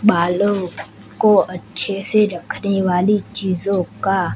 बालों को अच्छे से रखने वाली चीजों का--